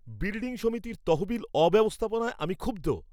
Building সমিতির তহবিল অব্যবস্থাপনায় আমি ক্ষুব্ধ।